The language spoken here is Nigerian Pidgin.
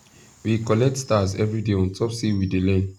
we collect stars every day on top say we dey learn